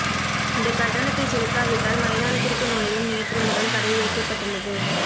இந்த கட்டணத்தை செலுத்தாவிட்டால் மைதானத்திற்கு நுழைய நேற்று முதல் தடை விதிக்கப்பட்டுள்ளது